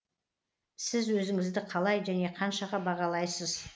сіз өзіңізді қалай және қаншаға бағалайсыз